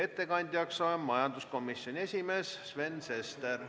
Ettekandjaks on majanduskomisjoni esimees Sven Sester.